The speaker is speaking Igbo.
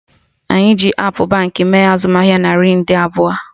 Anyị ji appụ Baankị mee azụmahịa naira nde abụọ